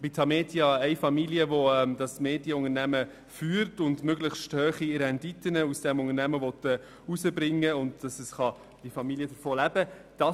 Das Medienunternehmen Tamedia wird von einer Familie geführt, die damit möglichst hohe Renditen erzielen möchte, sodass die Familie davon leben kann.